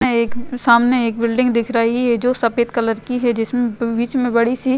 एक सामने एक बिल्डिंग दिख रही है जो सफेद कलर है जिसमें बीच में बड़ी -सी --